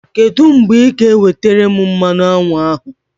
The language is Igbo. Kedụ mgbe ị ga-ewetere m mmanụ aṅụ ahụ?